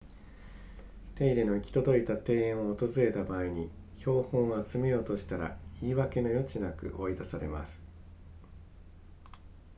手入れの行き届いた庭園を訪れた場合に標本を集めようとしたら言い訳の余地なく追い出されます